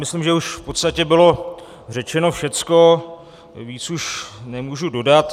Myslím, že už v podstatě bylo řečeno všecko, víc už nemůžu dodat.